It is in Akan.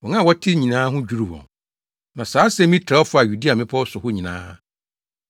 Wɔn a wɔtee nyinaa ho dwiriw wɔn, na saa asɛm yi trɛw faa Yudea mmepɔw so hɔ nyinaa.